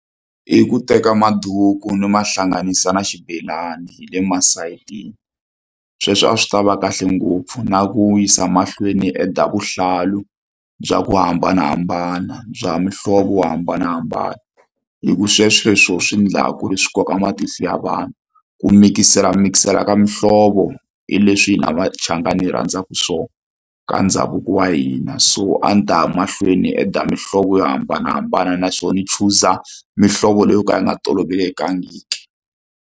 I ku teka maduku ni ma hlanganisa na xibelani hi le masayitini sweswo a swi tava kahle ngopfu na ku yisa mahlweni ni add-a vuhlalu bya ku hambanahambana bya muhlovo wo hambanahambana hi ku sweswo hi swo swi endla ku ri swi koka matihlo ya vanhu ku mikiselamikisela ka mihlovo hi leswi hina machangani hi rhandzaka swona ka ndhavuko wa hina so a ndzi ta ya mahlweni ni add mihlovo yo hambanahambana naswona ni chuza mihlovo leyo ka yi nga tolovelekangiki.